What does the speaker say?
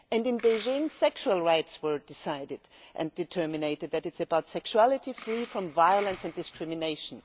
And in Beijing, sexual rights were decided and determined it is about sexuality free from violence and discrimination.